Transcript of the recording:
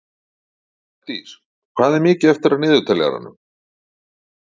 Bjarndís, hvað er mikið eftir af niðurteljaranum?